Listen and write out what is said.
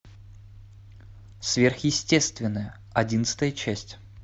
сверхестественное одиннадцатая часть